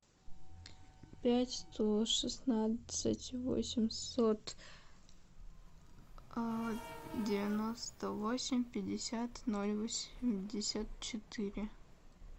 пять сто шестнадцать восемьсот девяносто восемь пятьдесят ноль восемьдесят четыре